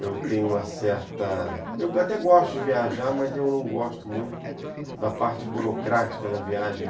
Eu tenho uma certa... Eu até gosto de viajar, mas eu não gosto muito da parte burocrática da viagem.